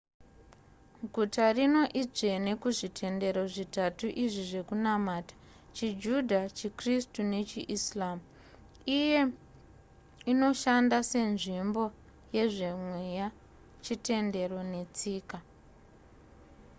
guta rino idzvene kuzvitendero zvitatu izvi zvekunamata chijudha chikristu nechiislam iye inoshanda senzimbo yezvemeya chitendero netsika